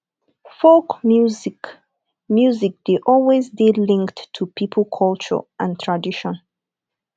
folk music music dey always dey linked to pipo culture and tradition